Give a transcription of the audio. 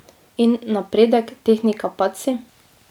In napredek, tehnika, padci?